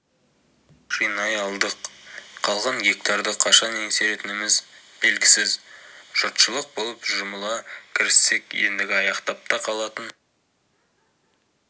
жинай алдық қалған гектарды қашан еңсеретініміз белгісіз жұртшылық болып жұмыла кіріссек ендігі аяқтап та қалатын